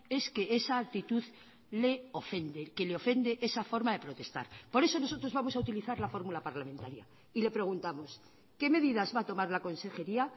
es que esa actitud le ofende que le ofende esa forma de protestar por eso nosotros vamos a utilizar la fórmula parlamentaria y le preguntamos qué medidas va a tomar la consejería